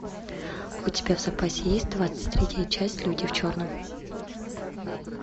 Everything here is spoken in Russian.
у тебя в запасе есть двадцать третья часть люди в черном